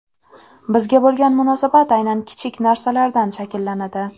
Bizga bo‘lgan munosabat aynan kichik narsalardan shakllanadi.